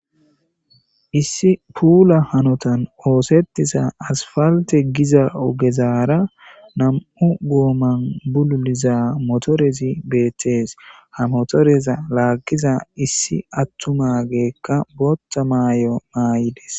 issi puula hanotan oosettisa asfalte giza ogezaara nam7u gooman bululiza motorezi beettees ha motoreza laaggiza issi attumageekka boota maay7o maay7ides